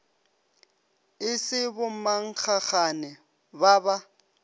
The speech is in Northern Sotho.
e se bommankgagane ba ba